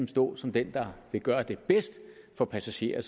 stå som den der vil gøre det bedst for passagerer